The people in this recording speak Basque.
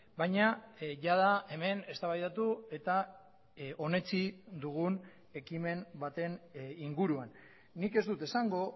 baina jada hemen eztabaidatu eta onetsi dugun ekimen baten inguruan nik ez dut esango